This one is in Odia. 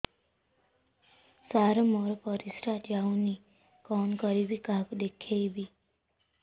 ସାର ମୋର ପରିସ୍ରା ଯାଉନି କଣ କରିବି କାହାକୁ ଦେଖେଇବି